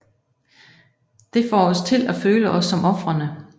Det får os til at føle os som ofrene